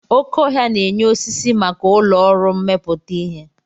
Oké ọhia na-enye osisi maka ụlọ ọrụ mmepụta ihe.